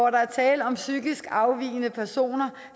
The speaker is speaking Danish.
er tale om psykisk afvigende personer